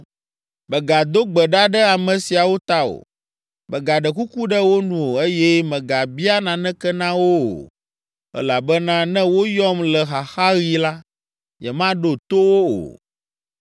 “Mègado gbe ɖa ɖe ame siawo ta o, mègaɖe kuku ɖe wo nu o, eye mègabia naneke na wo o, elabena ne woyɔm le xaxaɣi la, nyemaɖo to wo o.